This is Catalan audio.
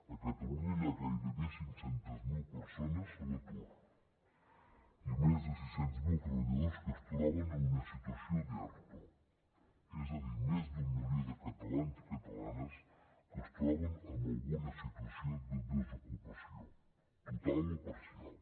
a catalunya hi ha gairebé cinc cents miler persones a l’atur i més de sis cents miler treballadors que es troben en una situació d’erto és a dir més d’un milió de catalans i catalanes que es troben en alguna situació de desocupació total o parcial